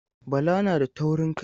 Bala na da taurin kai.